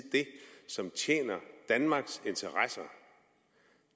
det som tjener danmarks interesser